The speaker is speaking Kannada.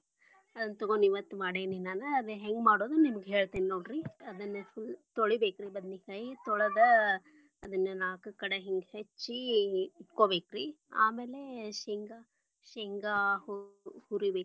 ಅದನ್ನ ತೊಗೊಂಡ ಇವತ್ತ್ ಮಾಡೇನಿ ರೀ ನಾನ, ಅದನ್ನ ಹೆಂಗ ಮಾಡುದ ನಿಮಗ್ ಹೆಳ್ತಿನಿ ನೋಡ್ರಿ ಅದನ್ನ ತೊಳಿ ಬೇಕ್ರಿ ಬದನಿಕಾಯಿ ತೊಳದ್ ಅದನ್ನ ನಾಲ್ಕ್ ಕಡೆ ಹಿಂಗ ಹೆಚ್ಚಿ ಇಟ್ಕೊಬೇಕರಿ, ಆಮೇಲೆ ಶೇಂಗಾ ಶೇಂಗಾ ಹು~ ಹುರಿಬೇಕರಿ.